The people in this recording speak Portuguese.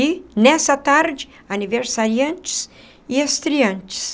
E nessa tarde, aniversariantes e estreantes.